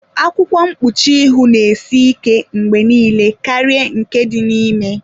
Akwụkwọ mkpuchi ihu na-esị ike mgbe niile karịa nke dị n'ime.